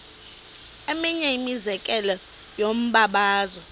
eminye imizekelo yombabazo